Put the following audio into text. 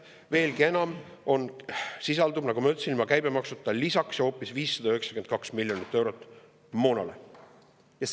Veelgi enam, seal sisaldub, nagu ma ütlesin, moona lisaks hoopis miljonit eurot, ilma käibemaksuta.